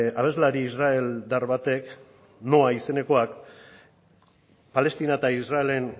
abeslari israeldar batek noa izenekoak palestina eta israelen